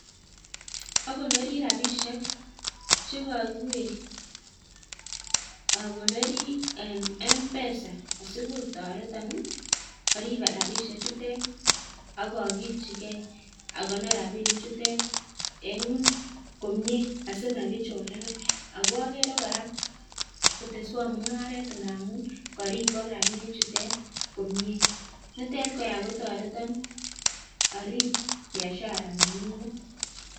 Okonori rabishek che kokiweg akonori en M-Pesa asikotoreton arib rabishek chutet ak okiljige akonor rabinik chutet en komie asimakichorenan. Ago okere kora koteswon mung'aret ngamun koribok rabinik chutet komie. Nitet kora kototreton arib biashara nenyunet.